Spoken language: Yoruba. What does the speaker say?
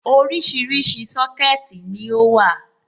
Oríṣiríṣi Sọ́kẹ̀tì ni ó wà.